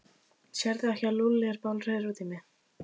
Sérðu ekki að Lúlli er bálreiður út í mig?